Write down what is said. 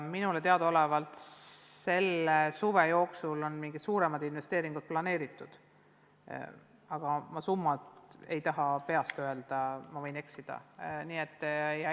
Minule teadaolevalt selle suve jooksul on mingid suuremad investeeringud planeeritud, aga summat ma ei taha peast öelda, võin eksida.